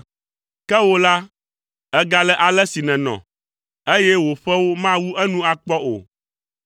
Ke wò la, ègale ale si nènɔ, eye wò ƒewo mawu enu akpɔ o.